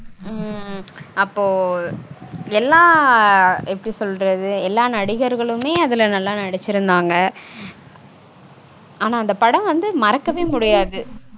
உம் அப்போ எல்லா எப்படி சொல்றது. எல்லா நடிகர்களுமே அதுல நல்லா நடிச்சிருந்தாங்க. ஆனா அந்த படம் வந்து மறக்கவே முடியாது